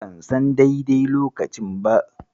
Ban son daidai lokacin ba.